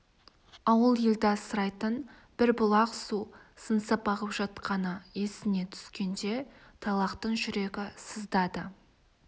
ауыл елді асырайтын бір бұлақ су сыңсып ағып жатқаны есіне түскенде тайлақтың жүрегі сыздады